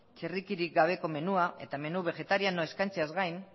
txerrikirik gabe menua eta menu begetarianoa eskaintzeaz gain